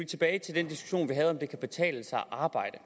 tilbage til den diskussion vi havde om om det kan betale sig at arbejde